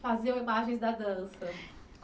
Faziam imagens da dança.